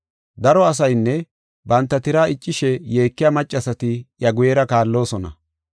Daro asaynne banta tiraa iccishe yeekiya maccasati iya guyera kaalloosona.